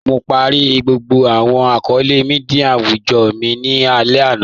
Mo pàárẹ̀ gbogbo awọn akọọlẹ̀ míḍíà awùjọ́ mi ni alẹ̀ ana.